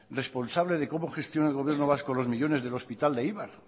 responsable de cómo gestiona el gobierno vasco los millónes del hospital de eibar